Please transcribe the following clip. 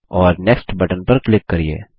और next button पर click करिये